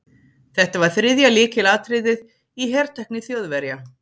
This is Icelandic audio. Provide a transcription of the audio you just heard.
Þetta var þriðja lykilatriðið í hertækni Þjóðverja.